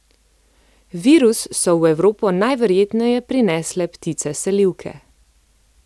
Virus so v Evropo najverjetneje prinesle ptice selivke.